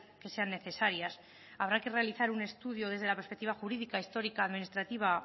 que sean necesarias habrá que realizar un estudio desde la perspectiva jurídica histórica administrativa